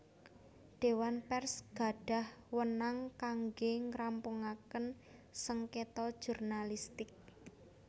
Dewan Pers gadhah weenang kangge ngrampungaken sengketa jurnalistik